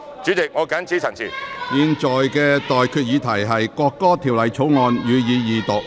我現在向各位提出的待決議題是：《國歌條例草案》，予以二讀。